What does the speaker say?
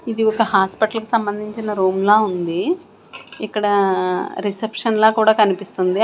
ఇది ఒక హాస్పిటల్ కి సంబందించిన రూమ్ లా ఉంది ఇక్కడ రిసెప్షన్ లా కూడా కనిపిస్తుంది.